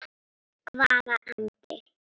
Hvaða andi?